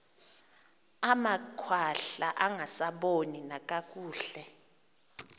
amakhwahla angasaboni nakakuhle